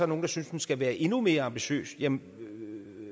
nogle der synes den skal være endnu mere ambitiøs men